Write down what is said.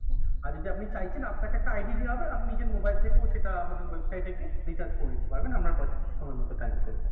আর যদি আপনি চাইছেন আপনাকে একটা ID দেয়া হবে আপনি নিজের mobile থেকেও সেটা আমাদের website এ গিয়ে recharge করে নিতে পারবেন, আপনার সময়মত time করে।